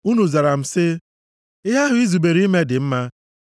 Unu zara sị m, “Ihe ahụ i zubere ime dị mma.”